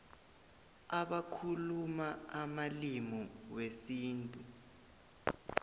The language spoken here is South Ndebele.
abakhuluma amalimi wesintu